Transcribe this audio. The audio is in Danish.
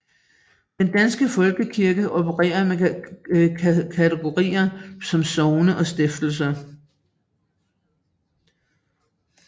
Den danske Folkekirke opererer med kategorier som sogne og stifter